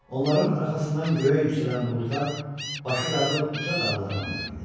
Onların arxasından göyə yüksələn buludlar başı qarlı uca dağları andırırdı.